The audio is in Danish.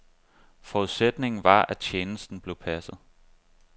Forudsætningen var, at tjenesten blev passet.